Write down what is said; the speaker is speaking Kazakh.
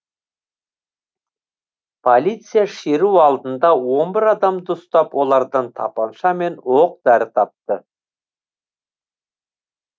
полиция шеру алдында он бір адамды ұстап олардан тапанша мен оқ дәрі тапты